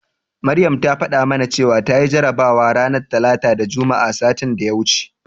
Maryam ta faɗa mana cewa tayi jarabawa ranar Talata da Juma'a satin da ya wuce.